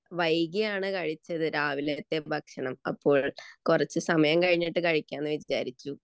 വൈകിയാണ് കഴിച്ചത് രാവിലത്തെ ഭക്ഷണം. അപ്പോൾ കുറച്ചു സമയം കഴിഞ്ഞു കഴിക്കാമെന്ന് വിചാരിച്ചു